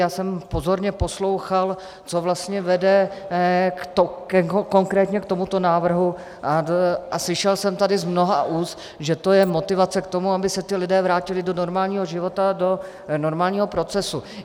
Já jsem pozorně poslouchal, co vlastně vede konkrétně k tomuto návrhu, a slyšel jsem tady z mnoha úst, že to je motivace k tomu, aby se ti lidé vrátili do normálního života, do normálního procesu.